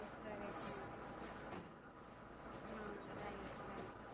એમ કરે જ ને હમ Right Right